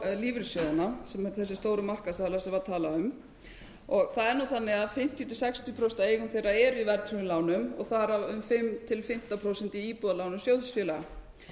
lífeyrissjóðina sem þessir stóru markaðsaðilar sem var talað um það er nú þannig að fimmtíu til sextíu prósent af eigum þeirra eru í verðtryggðum lánum og þar af um fimm til fimmtán prósent í íbúðalánum sjóðsfélaga